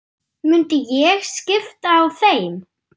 Myndi ég skipta á þeim?